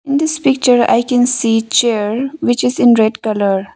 In this picture I can see chair which is in red colour.